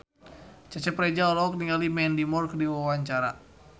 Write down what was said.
Cecep Reza olohok ningali Mandy Moore keur diwawancara